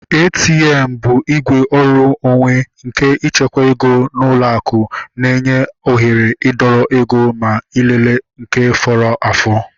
ATM bụ igwe ọrụ onwe nke ịchekwa ego n'ụlọ akụ na-enye oghere idọrọ ego ma ịlele nke fọrọ afọ